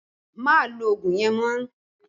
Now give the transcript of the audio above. Má lo ogun yẹn mọ́!